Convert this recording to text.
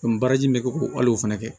baaraji in bɛ kɛ ko ayi o fɛnɛ kɛ